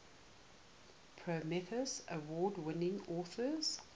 prometheus award winning authors